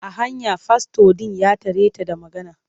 A hanya fastor ɗin ya tare ta da magana.